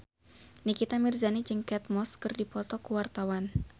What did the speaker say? Nikita Mirzani jeung Kate Moss keur dipoto ku wartawan